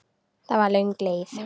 Það var löng leið.